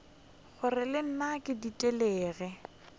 gore le nna ke ditelegile